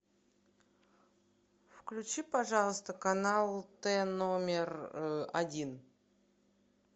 включи пожалуйста канал т номер один